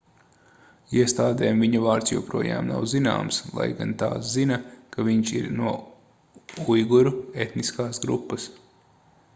iestādēm viņa vārds joprojām nav zināms lai gan tās zina ka viņš ir no uiguru etniskās grupas